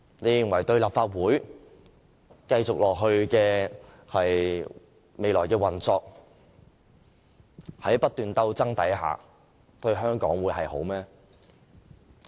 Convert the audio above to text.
你們認為立法會日後的運作陷入不斷鬥爭對香港有好處嗎？